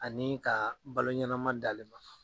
Ani ka balo ɲɛnama d'ale ma.